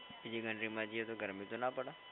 બીજી country માં જઈએ તો ગરમી તો ના પડે.